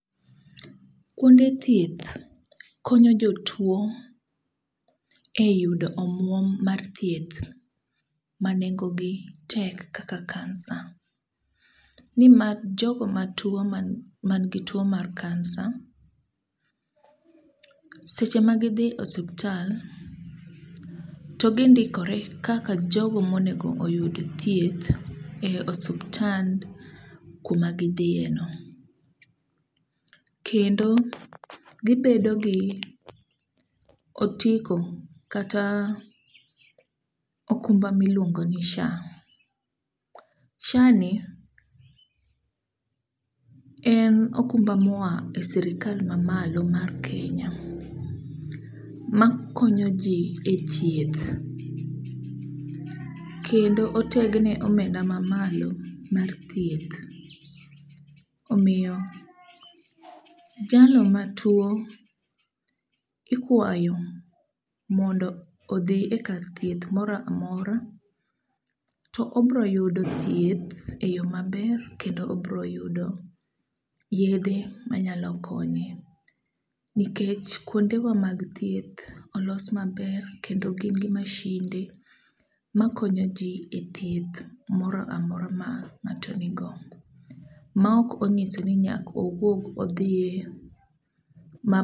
Kwonde thieth konyo jotuwo e yudo omwom mar thieth ma nengogi tek kaka kansa, nimar jogo matuwo manigi tuwo mar kansa, seche ma gidhi osuptal, to gindikore kaka jogo monego oyud thieth e osuptal kuma gidhieno. Kendo ,gibedo gi otiko kata okumba miluongoni SHA, SHA ni en okumba moa e sirikal mamalo mae Kenya makonyoji e thieth, kendo otegneomenda mamalo mat thieth. Omiyo jalo matuwo, ikuayo mondo odhi e kar thieth mora mora, to obro yudo thieth e yo maber kendo obro yudo yedhe manyalo konye nikech kwondewa mag thieth olos maber kendo gin gi mashinde makonyo ji e thieth mora mora ma ng'ato nigo, ma ok onyiso ni nyaka owuog odhiye.